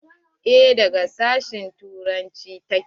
Eh daga sashen turanci ta ke.